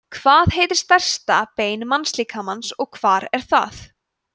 hvað heitir stærsta bein mannslíkamans og hvar er það